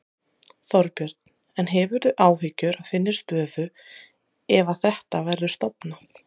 Þorbjörn: En hefurðu áhyggjur af þinni stöðu ef að þetta verður stofnað?